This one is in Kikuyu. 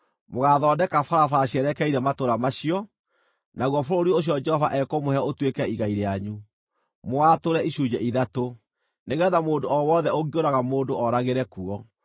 Mũgaathondeka barabara cierekeire matũũra macio, naguo bũrũri ũcio Jehova ekũmũhe ũtuĩke igai rĩanyu, mũwatũre icunjĩ ithatũ, nĩgeetha mũndũ o wothe ũngĩũraga mũndũ oragĩre kuo.